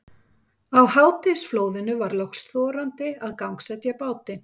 Á hádegisflóðinu var loks þorandi að gangsetja bátinn.